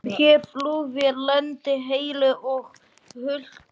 Herflugvél lenti heilu og höldnu